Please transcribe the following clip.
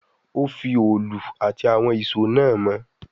Ó fi òòlù àti àwọn ìṣó náà mọ́